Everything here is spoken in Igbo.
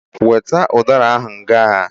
Weta udara ahụ ngaa!